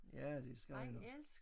Ja det skal han